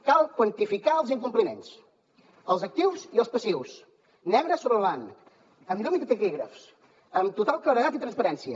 cal quantificar els incompliments els actius i els passius negre sobre blanc amb llum i taquígrafs amb total claredat i transparència